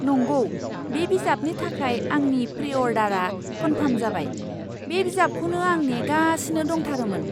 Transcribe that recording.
नंगौ! बे बिजाबनि थाखाय आंनि प्रि अर्डारआ कनफार्म जाबाय। बे बिजाबखौनो आं नेगासिनो दंथारोमोन!